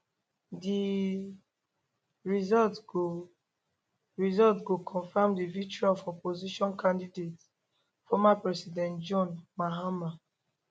di result go result go confam di victory of opposition candidate former president john mahama